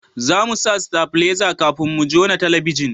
za mu sa stabileza kafin mu jona talabijin